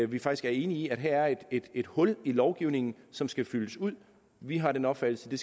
vi faktisk er enige i at her er et hul i lovgivningen som skal fyldes ud vi har den opfattelse at